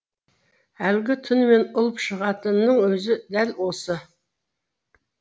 әлгі түнімен ұлып шығатынның өзі дәл осы